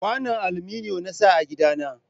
Kwanon aluminiyon na sa a gida na